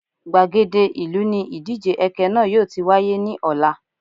Gbàgede ìlú ni ìdíje ẹkẹ náà yóò ti wáyé ní ọ̀la